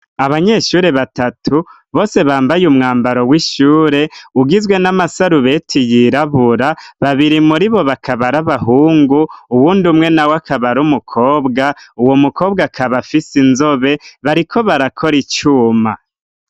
Abanyeshuri batatu bose bambaye umwambaro w'ishure. ugizwe n'amasarubeti yirabura. Babiri muri bo bakabara ari abahungu, uwundi umwe nawe akabara ari mukobwa, uwo mukobwa akaba afise inzobe, bariko barakora icuma.